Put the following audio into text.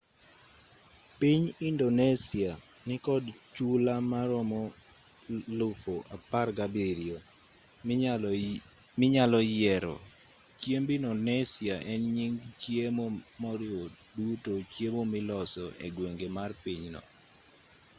piny indonesia nikod chula maromo 17,000 minyalo yiero chiemb indonesia en nying chiemo moriwo duto chiemo miloso egwenge mar pinyno